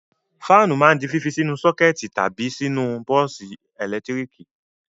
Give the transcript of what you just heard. Fáánù máa ń di fífi sínú sọ́kẹ́tì tàbí sínú bọ́ọ́sì ẹ̀lẹ́tíríkì.